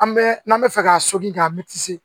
An bɛ n'an bɛ fɛ ka so k'a